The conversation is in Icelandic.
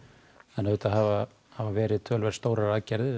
en auðvitað hafa hafa verið stórar aðgerðir